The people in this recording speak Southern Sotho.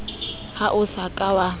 ha o sa ka wa